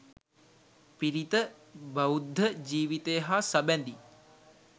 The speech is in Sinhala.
පිරිත; බෞද්ධ ජීවිතය හා සබැඳි